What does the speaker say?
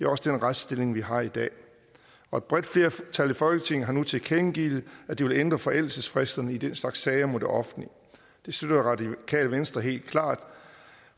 også den retsstilling vi har i dag og et bredt flertal i folketinget har nu tilkendegivet at de vil ændre forældelsesfristerne i den slags sager mod det offentlige det støtter radikale venstre helt klart